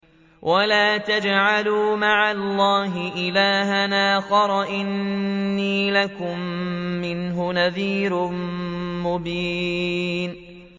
وَلَا تَجْعَلُوا مَعَ اللَّهِ إِلَٰهًا آخَرَ ۖ إِنِّي لَكُم مِّنْهُ نَذِيرٌ مُّبِينٌ